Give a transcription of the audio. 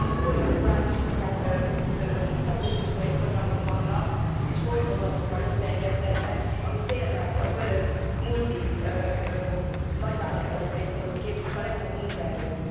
Nálunk olyan duális szakközépiskolai programok vannak sportprogramokkal összeegyeztetve, amik tényleg az önök multi nagyvállalataikhoz képzik a legjobb munkaerőt.